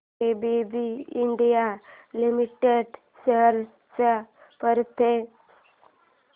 ABB India limited shares चा performance